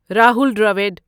Rahul Dravid